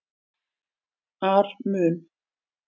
ar mun